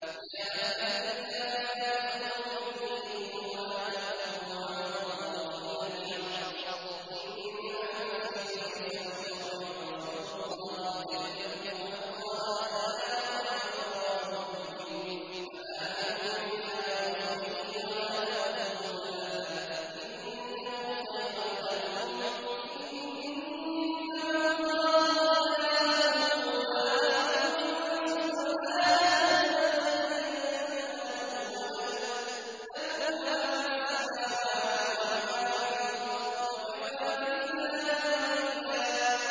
يَا أَهْلَ الْكِتَابِ لَا تَغْلُوا فِي دِينِكُمْ وَلَا تَقُولُوا عَلَى اللَّهِ إِلَّا الْحَقَّ ۚ إِنَّمَا الْمَسِيحُ عِيسَى ابْنُ مَرْيَمَ رَسُولُ اللَّهِ وَكَلِمَتُهُ أَلْقَاهَا إِلَىٰ مَرْيَمَ وَرُوحٌ مِّنْهُ ۖ فَآمِنُوا بِاللَّهِ وَرُسُلِهِ ۖ وَلَا تَقُولُوا ثَلَاثَةٌ ۚ انتَهُوا خَيْرًا لَّكُمْ ۚ إِنَّمَا اللَّهُ إِلَٰهٌ وَاحِدٌ ۖ سُبْحَانَهُ أَن يَكُونَ لَهُ وَلَدٌ ۘ لَّهُ مَا فِي السَّمَاوَاتِ وَمَا فِي الْأَرْضِ ۗ وَكَفَىٰ بِاللَّهِ وَكِيلًا